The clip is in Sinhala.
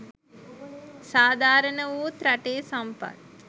සාධාරණ වූත් රටේ සම්පත්